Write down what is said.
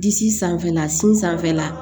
Disi sanfɛla sanfɛla la